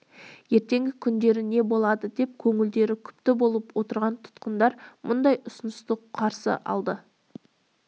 ертеңгі күндері не болады деп көңілдері күпті болып отырған тұтқындар мұндай ұсынысты қуана қарсы алды